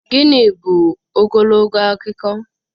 Gịnị bụ ogologo akụkọ?